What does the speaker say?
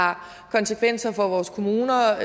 har konsekvenser for vores kommuner